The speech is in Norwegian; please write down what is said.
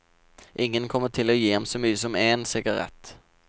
Ingen kommer til å gi ham så mye som én sigarett.